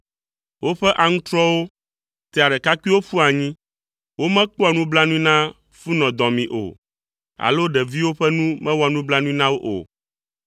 Woƒe aŋutrɔwo tea ɖekakpuiwo ƒua anyi. Womekpɔa nublanui na funɔdɔmee o, alo ɖeviwo ƒe nu mewɔa nublanui na wo o.